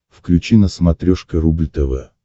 включи на смотрешке рубль тв